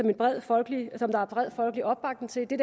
er bred folkelig opbakning til det